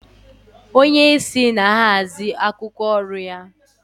Onye isi na-ahazi akwụkwọ oru ya.